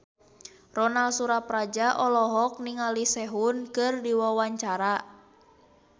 Ronal Surapradja olohok ningali Sehun keur diwawancara